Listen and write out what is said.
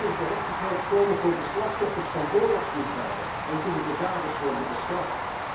Hoe kan er gerechtigheid komen voor de slachtoffers van oorlogsmisdaden en kunnen de daders worden bestraft?